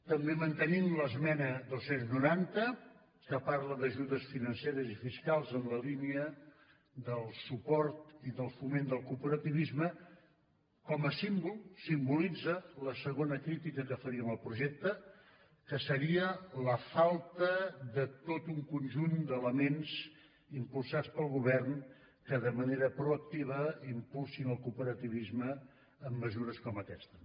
també mantenim l’esmena dos cents i noranta que parla d’ajudes financeres i fiscals en la línia del suport i del foment del cooperativisme com a símbol simbolitza la segona crítica que faríem al projecte que seria la falta de tot un conjunt d’elements impulsats pel govern que de manera proactiva impulsin el cooperativisme amb mesures com aquesta